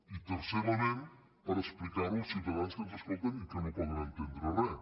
i tercer element per explicar ho als ciutadans que ens escolten i que no poden entendre res